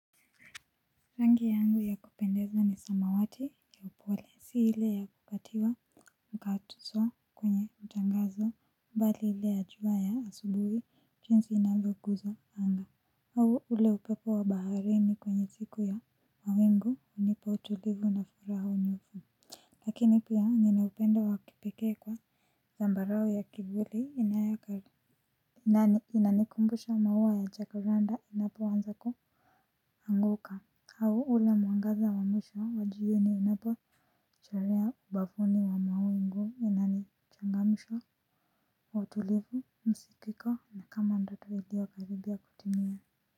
Rangi yangu ya kupendeza ni samawati ya upole si ile ya kukatiwa mkatizo kwenye utangazo mbali hile ya jua ya asubuhi chinsi inavyo guza anga au ule upepo wa baharini kwenye siku ya mawingu unipa utulivu na furaha unyufu lakini pia ninaupendo wa kipeke kwa zambarao ya kivuli inayaka nani inanikumbusha maua ya jacaranda inapoanza kuanguka au ule mwangaza wa mwisho wa jioni inapo chalea ubavuni wa mawingu inani changamsha wa utulivu msikiko na kama ndoto ilio karibia kutimia.